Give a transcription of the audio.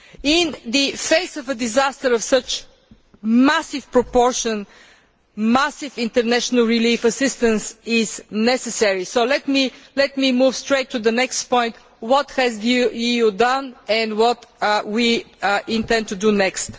In the face of a disaster of such massive proportions, massive international relief assistance is necessary. So let me move straight to the next point. What has the EU done, and what do we intend to do next?